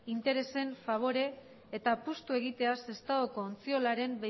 interesen fabore eta apustu egitea sestaoko ontziolaren